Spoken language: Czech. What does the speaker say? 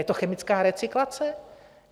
Je to chemická recyklace?